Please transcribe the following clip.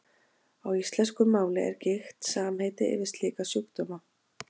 Á íslensku máli er gigt samheiti yfir slíka sjúkdóma.